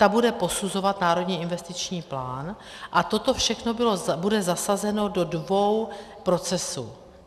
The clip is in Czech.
Ta bude posuzovat Národní investiční plán a toto všechno bude zasazeno do dvou procesů.